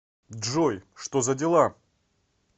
джой что за дела